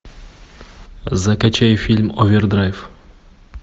закачай фильм овердрайв